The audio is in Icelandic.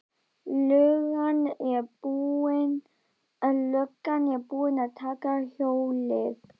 Löggan er búin að taka hjólið.